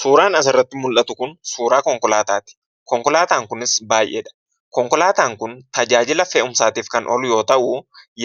Suuraan asirratti mul'atu kun suuraa konkolaataati. Konkolaataan kunis baay'eedha. Konkolaataan kun tajaajila fe'umsaatiif kan oolu yoo ta'u,